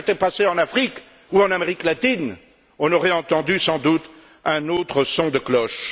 Si cela s'était passé en Afrique ou en Amérique latine, on aurait entendu, sans doute, un autre son de cloche.